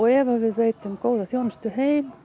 ef við veitum góða þjónustu heim